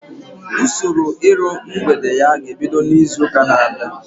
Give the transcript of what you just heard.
Usoro iru mgbede ya ga-ebido izu ụka na-abịa